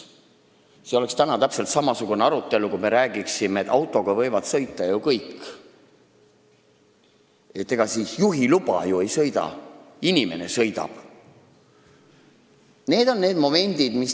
See oleks täpselt samasugune arutelu, kui me räägiksime, et autoga võivad ju kõik sõita – ega juhiluba ei sõida, inimene sõidab.